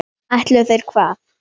Ætluðu þeir hvað?